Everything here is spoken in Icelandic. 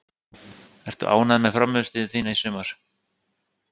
Ertu ánægður með frammistöðu þína í sumar?